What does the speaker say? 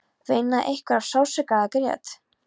Veinaði einhver af sársauka eða grét?